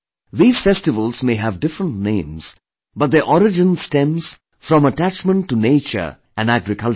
These festivals may have different names, but their origins stems from attachment to nature and agriculture